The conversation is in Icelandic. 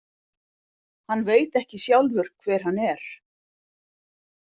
Hann veit ekki sjálfur hver hann er.